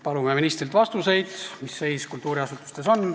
Palume ministrilt vastuseid, mis seis kultuuriasutustes on.